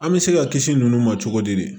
An bɛ se ka kisi ninnu ma cogo di